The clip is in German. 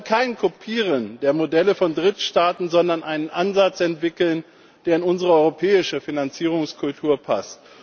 Wir wollen kein Kopieren der Modelle von Drittstaaten, sondern einen Ansatz entwickeln, der in unsere europäische Finanzierungskultur passt.